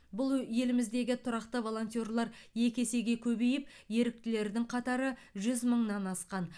бұл еліміздегі тұрақты волонтерлар екі есеге көбейіп еріктілердің қатары жүз мыңнан асқан